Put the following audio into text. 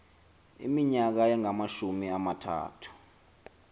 iminyaka engamashumi amathathu